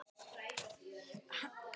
Hann andaði léttar.